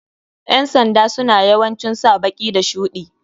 Ƴan sanda suna yawancin sa baki da shuɗi.